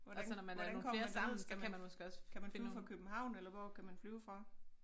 Hvordan hvordan kommer man derned skal man kan man flyve fra København eller hvor kan man flyve fra?